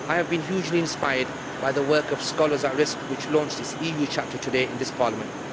I have been hugely inspired by the work of Scholars at Risk which launched its EU chapter today in this Parliament.